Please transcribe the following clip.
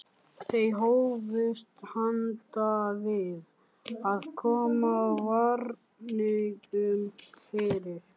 Þau hófust handa við að koma varningnum fyrir.